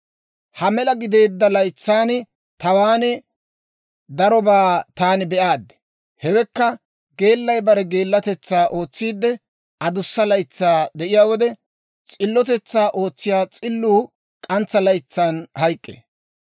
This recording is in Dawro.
Ha mela gideedda laytsan tawaan darobaa taani be'aad. Hewekka, geellay bare geellatetsaa ootsiidde, adussa laytsaa de'iyaa wode, s'illotetsaa ootsiyaa s'illuu k'antsa laytsan hayk'k'ee.